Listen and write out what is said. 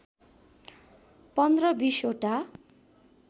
१५ २० वटा